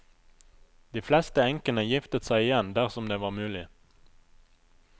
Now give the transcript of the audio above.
De fleste enkene giftet seg igjen dersom det var mulig.